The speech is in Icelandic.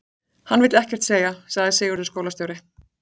Hann vill ekkert segja, sagði Sigurður skólastjóri.